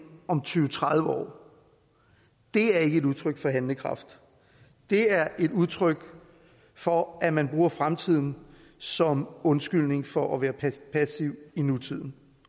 om tyve til tredive år er ikke et udtryk for handlekraft det er et udtryk for at man bruger fremtiden som undskyldning for at være passiv i nutiden